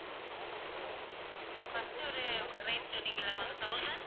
first ஒரு rate சொன்னீங்கல்ல ma'am thousand